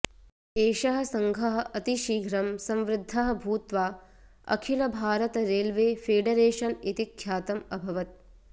एषः सङ्घः अतिशीघ्रं संवृद्धः भूत्वा अखिलभारतरेल्वेफेडरेशन् इति ख्यातम् अभवत्